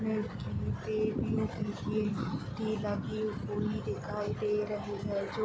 लगी हुई दिखाई दे रही है जो --